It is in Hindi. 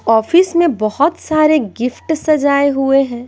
ऑफिस में बहुत सारे गिफ्ट सजाए हुए हैं।